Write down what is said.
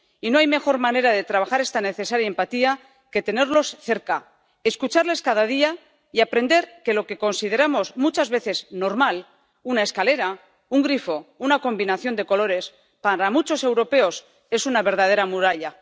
Y no hay mejor manera de trabajar esta necesaria empatía que tenerlos cerca, escucharles cada día y aprender que lo que consideramos muchas veces normal —una escalera, un grifo, una combinación de colores— para muchos europeos es una verdadera muralla.